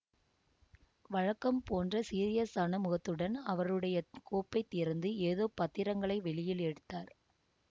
வழக்கம் போன்ற சீரியசான முகத்துடன் அவருடைய கோப்பைத் திறந்து ஏதோ பத்திரங்களை வெளியில் எடுத்தார்